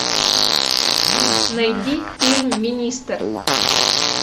найди фильм министр